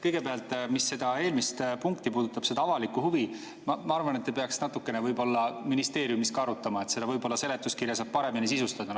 Kõigepealt, mis seda eelmist punkti puudutab, seda avalikku huvi – ma arvan, et te peaksite natukene võib-olla ministeeriumis arutama, selle seletuskirja saab paremini sisustada.